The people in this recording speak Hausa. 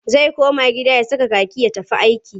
Zai koma gida ya saka kaki ya tafi aiki.